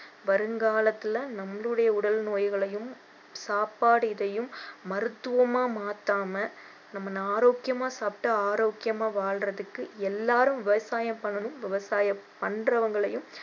வருங்காலத்துல நம்மளுடைய உடல் நோய்களையும் சாப்பாடு இதையும் மருத்துவமா மாற்றாம நம்ம ஆரோக்கியமா சாப்பிட்டு ஆரோக்கியமா வாழ்றதுக்கு எல்லாரும் விவசாயம் பண்ணணும் விவசாயம் பண்றவங்களையும்